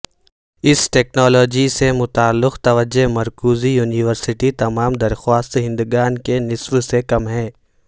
اس technology سے متعلق توجہ مرکوز یونیورسٹی تمام درخواست دہندگان کے نصف سے کم ہے